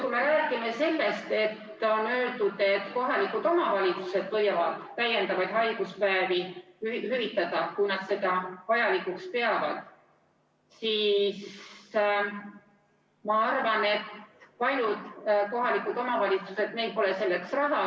Kui me räägime sellest, et on öeldud, et kohalikud omavalitsused võivad täiendavaid haiguspäevi hüvitada, kui nad seda vajalikuks peavad, siis ma arvan, et paljudel kohalikel omavalitsustel pole selleks raha.